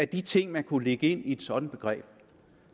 de ting man kunne lægge ind i et sådant begreb